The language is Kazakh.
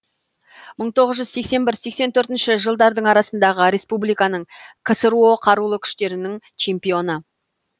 мың тоғыз жүз сексен бір сексен төртінші жылдардың арасындағы республиканың ксро қарулы күштерінің чемпионы